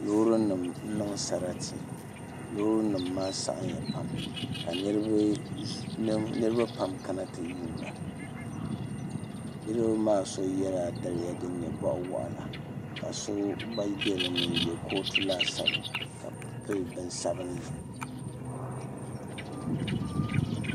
Loori nim n niŋ sarati loori nim maa saɣimya pam ka niraba kana ti yuunda niraba maa so yɛla daliya din nyɛ zaɣ waɣila ka so gba bɛ dinni n yɛ kootu laasabu ka pili bin sabinli